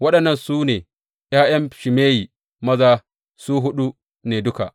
Waɗannan su ne ’ya’yan Shimeyi maza, su huɗu ne duka.